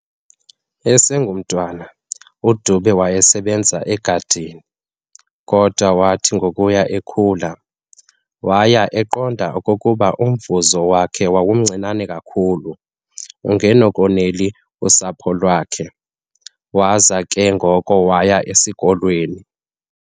Esengumntwana, uDube wayesebenza egadini, kodwa wathi ngokuya ekhula, waya eqonda okokuba umvuzo wakhe wawumncinane kakhulu ungenakonela usapho lwakhe, waza ke ngoko waya esikolweni.